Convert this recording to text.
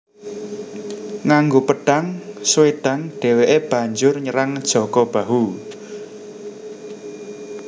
Nganggo pedhang Swedhang dheweke banjur nyerang Jaka Bahu